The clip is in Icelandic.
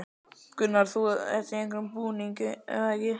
Gunnar: Þú ert í einhverjum búning, ekki satt?